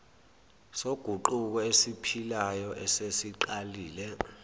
soguquko esiphilayo esesiqalile